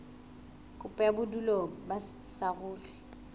kopo ya bodulo ba saruri